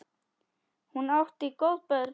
Hún átti góð börn.